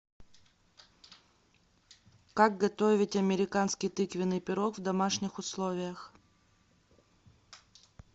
как готовить американский тыквеный пирог в домашних условиях